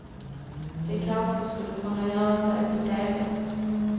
Det kanske skulle kunna göra sig på teve.